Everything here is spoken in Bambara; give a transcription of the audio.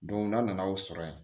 n'a nana o sɔrɔ yen